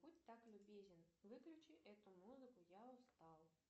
будь так любезен выключи эту музыку я устал